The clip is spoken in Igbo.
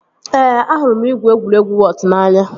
Ee, ahụrụ m igwu egwuregwu wọọt n'anya